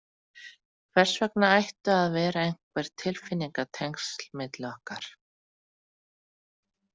Hvers vegna ættu að vera einhver tilfinningatengsl milli okkar?